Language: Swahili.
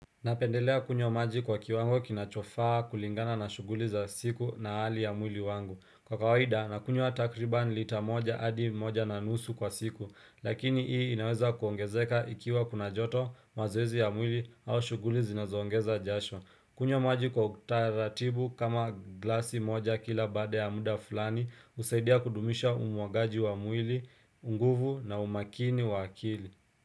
Napendelea kunywa maji kwa kiwango kinachofaa kulingana na shughuli za siku na hali ya mwili wangu. Kwa kawaida, nakunywa takriban lita moja hadi moja na nusu kwa siku, lakini hii inaweza kuongezeka ikiwa kuna joto mazoezi ya mwili au shughuli zinazoongeza jasho. Kunywa maji kwa utaratibu kama glasi moja kila baada ya muda fulani husaidia kudumisha umuagaji wa mwili, nguvu na umakini wa akili.